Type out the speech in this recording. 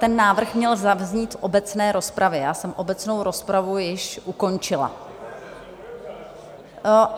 Ten návrh měl zaznít v obecné rozpravě, já jsem obecnou rozpravu již ukončila.